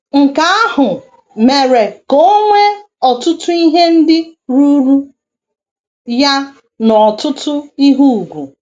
Nke ahụ mere ka o nwee ọtụtụ ihe ndị ruuru ya na ọtụtụ ihe ùgwù.